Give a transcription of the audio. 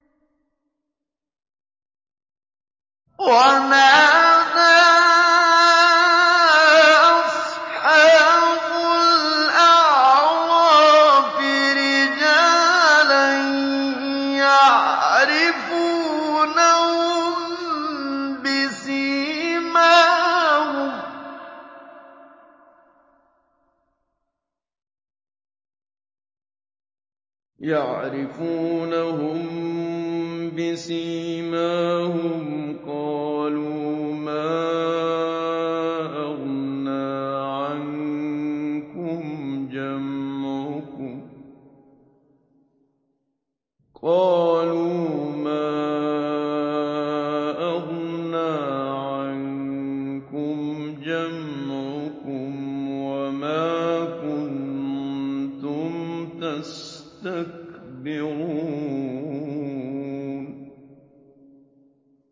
وَنَادَىٰ أَصْحَابُ الْأَعْرَافِ رِجَالًا يَعْرِفُونَهُم بِسِيمَاهُمْ قَالُوا مَا أَغْنَىٰ عَنكُمْ جَمْعُكُمْ وَمَا كُنتُمْ تَسْتَكْبِرُونَ